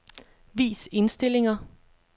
Vis indstillinger.